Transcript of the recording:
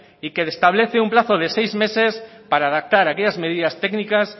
y que establece un plazo de seis meses para adaptar aquellas medidas técnicas